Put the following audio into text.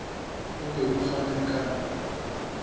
o be o fane ka